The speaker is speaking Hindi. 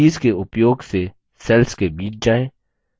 कीज़ के उपयोग से cells के बीच जाएँ